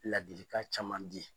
Ladilikan caman di.